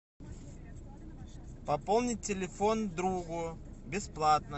пополнить телефон другу бесплатно